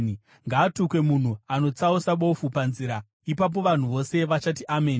“Ngaatukwe munhu anotsausa bofu panzira.” Ipapo vanhu vose vachati, “Ameni!”